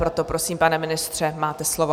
Proto prosím, pane ministře, máte slovo.